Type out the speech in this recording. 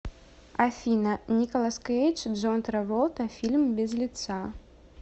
афина николас кейдж джон траволта фильм без лица